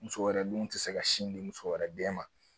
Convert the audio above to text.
Muso wɛrɛ dun tɛ se ka sin di muso wɛrɛ den ma